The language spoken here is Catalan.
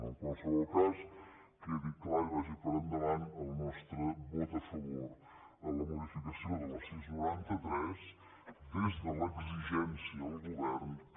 en qualsevol cas quedi clar i vagi per endavant el nos·tre vot a favor a la modificació de la sis noranta tres des de l’exi·gència al govern que